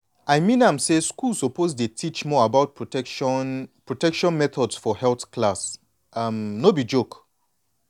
i mean am say schools suppose dey teach more about protection protection methods for health class no be joke.